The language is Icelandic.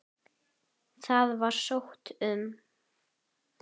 Það var sótt um.